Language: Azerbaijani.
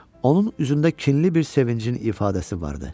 Onun üzündə kinli bir sevincin ifadəsi vardı.